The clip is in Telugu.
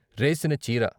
రేసిన చీర